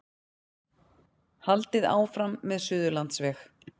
Haldið áfram með Suðurlandsveg